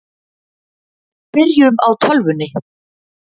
Byrjum á tölvunni.